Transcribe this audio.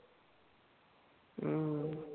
हम्म